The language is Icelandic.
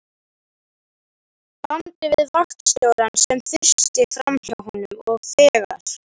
bandi við vaktstjórann, sem þusti framhjá honum, og þegar